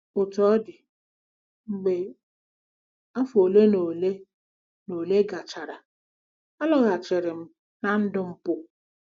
Otú ọ dị, mgbe afọ ole na ole na ole gachara, alọghachiri m ná ndụ mpụ.